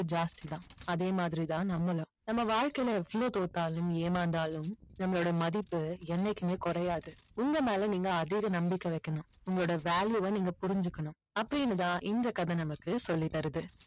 ஜாஸ்த்தி தான் அதேமாதிரி தான் நம்மளும் நம்ம வாழ்க்கையில எவ்வளோ தோத்தாலும் ஏமார்ந்தாலும் நம்மளோட மதிப்பு என்னைக்குமே குறையாது உங்க மேல நீங்க அதீத நம்பிக்கை வைக்கணும் உங்களோட value வ நீங்க புரிஞ்சிக்கணும் அப்படின்னு தான் இந்த கதை நமக்கு சொல்லி தருது